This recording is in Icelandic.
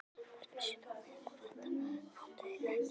Þeir vissu þó vel að þetta máttu þeir ekki.